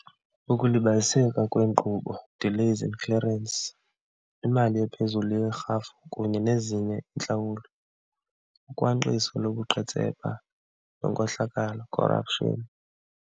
Ukulibaziseka kweenkqubo, delays in clearance. Imali ephezulu yerhafu kunye nezinye iintlawulo, ukhwankqiso lobuqhetseba nenkohlakalo, corruption.